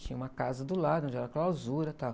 Tinha uma casa do lado onde era a clausura, tal.